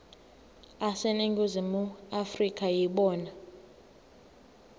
aseningizimu afrika yibona